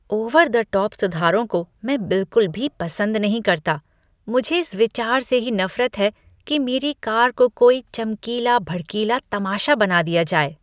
Over the top सुधारों को मैं बिलकुल भी पसंद नहीं करता। मुझे इस विचार से ही नफरत है कि मेरी कार को कोई चमकीला भड़कीला तमाशा बना दिया जाए।